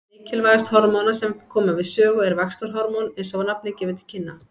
Mikilvægast hormóna sem koma við sögu er vaxtarhormón eins og nafnið gefur til kynna.